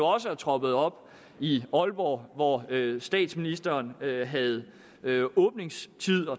også er troppet op i aalborg hvor statsministeren havde havde